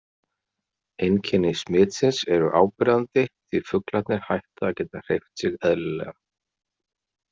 Einkenni smitsins eru áberandi því fuglarnir hætta að geta hreyft sig eðlilega.